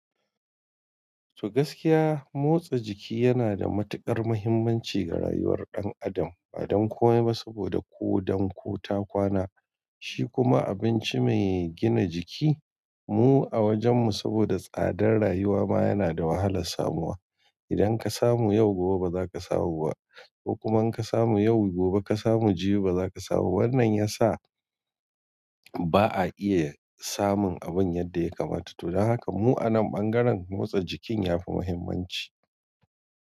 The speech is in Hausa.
To gaskiya, motsa jiki yana da matuƙar muhimmanci ga rayuwar ɗan adam. Ba dan komai ba saboda ko don ko ta kwana, shi kuma abinci mai gina jiki. Mu a wajenmu saboda tsadar rayuwa ma yana da wahalar samuwa. Idan ka samu yau gobe ba za ka samu ba, ko kuma in ka samu yau gobe ka samu jibi ba za ka samu wannan ya sa. Ba a iye, samun abun yadda ya kamata. To dan haka mu a nan ɓangaren, motsa jikin ya fi muhimmanci.